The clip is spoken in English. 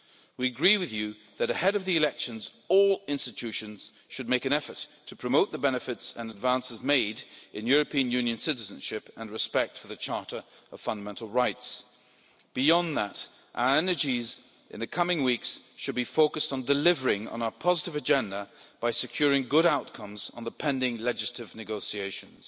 We agree with you that, ahead of the elections, all the EU institutions should make an effort to promote the benefits of, and advances made on, European Union citizenship and respect for the Charter of Fundamental Rights. Beyond that, our energies in the coming weeks should be focused on delivering on a positive agenda by securing good outcomes in the pending legislative negotiations.